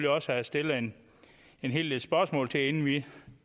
også have stillet en en hel del spørgsmål inden vi